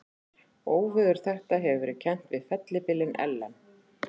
Óveður þetta hefur verið kennt við fellibylinn Ellen.